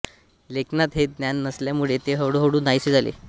लेखनात हे ज्ञान नसल्यामुळे ते हळूहळू नाहीसे झाले